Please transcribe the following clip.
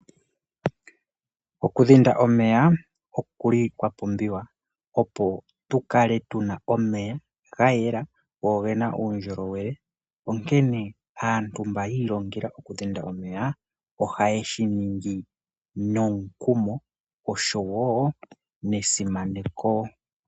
Okudhinda omeya okuli kwapumbiwa opo tulale tuna omeya gayela go ongena uundjolowele onkene aantu mba yilongela oku dhinda omeya oha yeshiningi nomukumo osho wo nesimaneko.